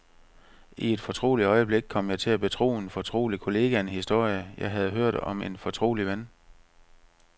I et fortroligt øjeblik kom jeg til at betro en fortrolig kollega en historie, jeg havde hørt om en fortrolig ven.